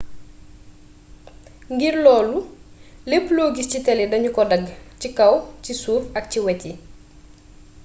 ngir loolu lépp lo giss ci télé dañu ko dagg ci kaw ci suuf ak ci wét yi